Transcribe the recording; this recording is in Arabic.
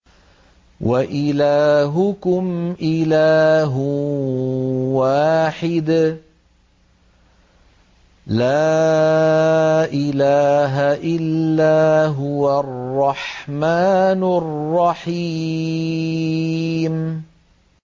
وَإِلَٰهُكُمْ إِلَٰهٌ وَاحِدٌ ۖ لَّا إِلَٰهَ إِلَّا هُوَ الرَّحْمَٰنُ الرَّحِيمُ